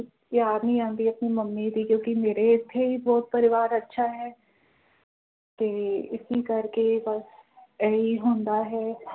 ਯਾਦ ਨਹੀਂ ਆਉਂਦੀ ਆਪਣੀ ਮੰਮੀ ਦੀ ਕਿਉਕਿ ਮੇਰੇ ਇਥੇ ਹੀ ਬੋਹੋਤ ਪਰਿਵਾਰ ਅੱਛਾ ਹੈ ਤੇ ਇਸੀ ਕਰਕੇ ਬਸ ਏਹੀ ਹੁੰਦਾ ਹੈ